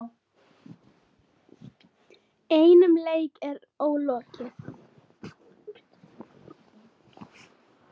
Einum leik er ólokið.